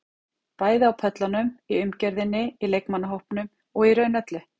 Bæði á pöllunum, í umgjörðinni, í leikmannahópnum og í raun öllu.